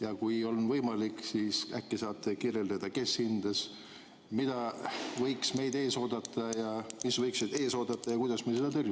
Ja kui on võimalik, siis äkki saate kirjeldada, kes hindas, mis võiks meid ees oodata ja kuidas me seda tõrjume?